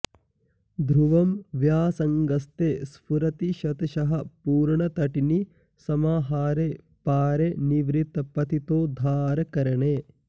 ध्रुवं व्यासङ्गस्ते स्फुरति शतशः पूर्णतटिनी समाहारे पारे निभृतपतितोद्धारकरणे